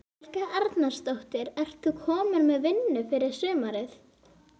Helga Arnardóttir: Ert þú komin með vinnu fyrir sumarið?